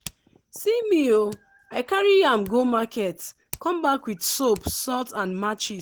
see me ooh i carry yam go market come back with soap salt and matches.